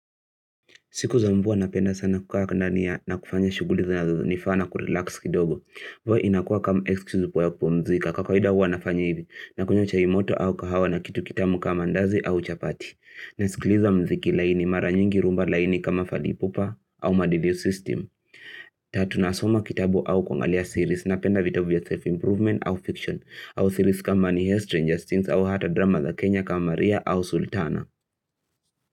Siku za mvua napenda sana kukukaandania na kufanya shuguli za nifana kurelax kidogo. Huwa inakua kama excuse upo ya kupumzika kwa kawaida huwa nafanya hivi na kunywa chai moto au kahawa na kitu kitamu kama ndazi au chapati. Na sikiliza mziki laini mara nyingi rhumba laini kama falipupa au madiliu system. Tatu nasoma kitabu au kuangalia series na penda vitabu ya self-improvement au fiction. Au series kama ni Stranger Things au hata drama The Kenya kama Maria au Sultana.